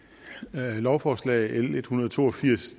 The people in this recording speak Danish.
lovforslag l en hundrede og to og firs